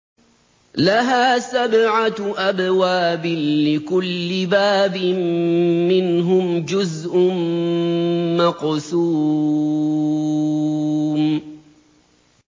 لَهَا سَبْعَةُ أَبْوَابٍ لِّكُلِّ بَابٍ مِّنْهُمْ جُزْءٌ مَّقْسُومٌ